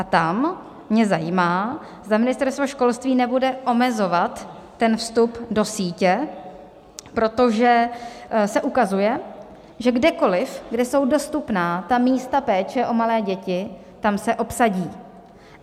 A tam mě zajímá, zda Ministerstvo školství nebude omezovat ten vstup do sítě, protože se ukazuje, že kdekoliv, kde jsou dostupná ta místa péče o malé děti, tam se obsadí.